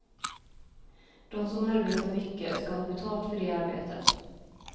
De som arbetar mycket skall ha betalt för det arbetet.